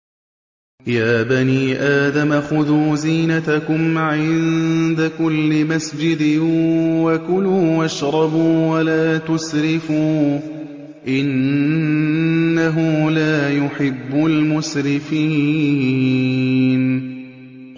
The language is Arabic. ۞ يَا بَنِي آدَمَ خُذُوا زِينَتَكُمْ عِندَ كُلِّ مَسْجِدٍ وَكُلُوا وَاشْرَبُوا وَلَا تُسْرِفُوا ۚ إِنَّهُ لَا يُحِبُّ الْمُسْرِفِينَ